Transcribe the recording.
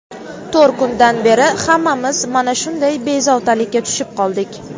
to‘rt kundan beri hammamiz mana shunday bezovtalikka tushib qoldik.